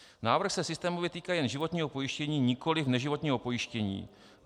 Návrh se systémově týká jen životního pojištění, nikoli neživotního pojištění.